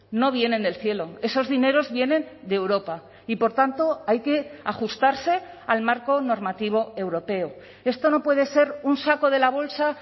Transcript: no vienen del cielo esos dineros vienen de europa y por tanto hay que ajustarse al marco normativo europeo esto no puede ser un saco de la bolsa